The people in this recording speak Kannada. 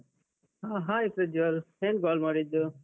ಹಾ hi ಪ್ರಜ್ವಲ್. ಏನ್ call ಮಾಡಿದ್ದು?